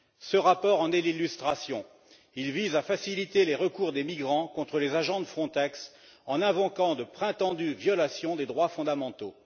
Ce rapport en est l'illustration il vise à faciliter les recours des migrants contre les agents de Frontex en invoquant de prétendues violations des droits fondamentaux.